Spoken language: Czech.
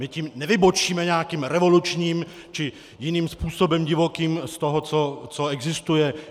My tím nevybočíme nějakým revolučním či jiným způsobem divokým z toho, co existuje.